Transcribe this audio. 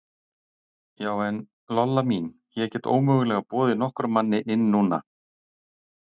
Já, en, Lolla mín, ég get ómögulega boðið nokkrum manni inn núna.